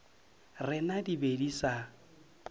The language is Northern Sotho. rena di be di sa